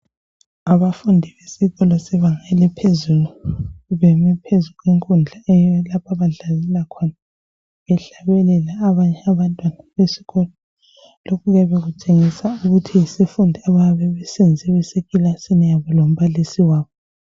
Abafundi besikolo sebanga eliphezulu beme phezulu kwekudla lapha abadlalela khona behlabelela abanye abantwana besikolo lokhu kuyabe kutshengisa ukuthi yisifundo abayabe besenze besekilasini yabo lombalisi wabo.